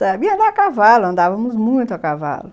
Sabia andar a cavalo, andávamos muito a cavalo.